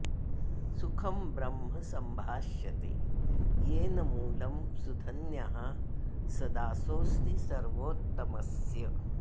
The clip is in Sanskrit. सुखं ब्रह्म सम्भाष्यते येन मूलं सुधन्यः स दासोऽस्ति सर्वोत्तमस्य